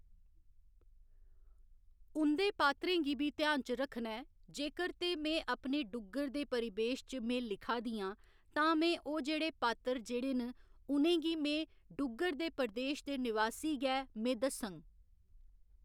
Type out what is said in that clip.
उंदे पात्रें गी बी घ्यान च रक्खना ऐ जेकर ते में अपने डुग्गर दे परिबेश च में लिखा दी आं ते में ओह् जेह्‌ड़े पात्र जेह्‌ड़े न उ'नें गी में डुग्गर दे प्रदेश दे निवासी गै में दस्सङ